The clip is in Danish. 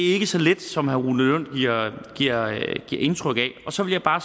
ikke så let som herre rune lund giver indtryk af så vil jeg bare